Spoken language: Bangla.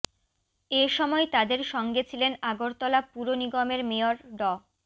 এ সময় তাদের সঙ্গে ছিলেন আগরতলা পুর নিগমের মেয়র ড